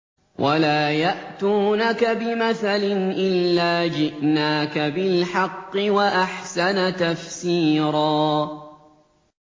وَلَا يَأْتُونَكَ بِمَثَلٍ إِلَّا جِئْنَاكَ بِالْحَقِّ وَأَحْسَنَ تَفْسِيرًا